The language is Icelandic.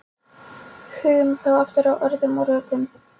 Hugum þá aftur að orðum og rökum.